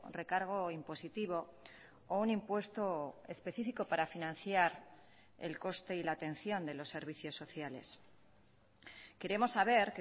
recargo impositivo o un impuesto específico para financiar el coste y la atención de los servicios sociales queremos saber